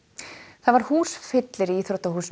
það var húsfyllir í íþróttahúsinu